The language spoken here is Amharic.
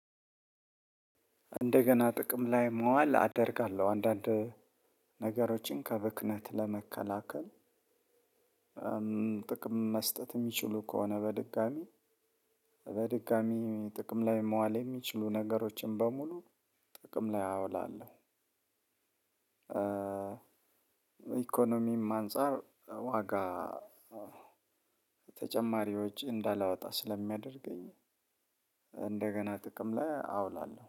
እንደገና ጥቅም ላይ መዋል አደርጋለሁ አንዳንድ ነገሮችን ከብክነት ለመከላከል። ጥቅም መስጠት የሚችሉ ከሆነ በድጋሚ በድጋሚ ጥቅም ላይ መዋል የሚችሉ ነገሮችን በሙሉ ጥቅም ላይ አውላለሁ። ኢኮኖሚም አንፃር ዋጋ ተጨማሪ ወጭ እንዳላወጣ ስለሚያደርገኝ። እንደገና ጥቅም ላይ አውላለሁ